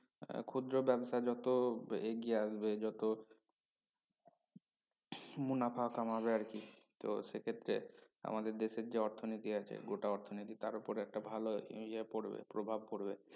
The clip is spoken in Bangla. আহ ক্ষুদ্র ব্যবসা যত এগিয়ে আসবে যত মুনাফা কামাবে আরকি তো সে ক্ষেত্রে আমাদের দেশের যে অর্থনীতি আছে গোটা অর্থনীতি তার উপরে একটা ভাল ইয়ে পড়বে প্রভাব পড়বে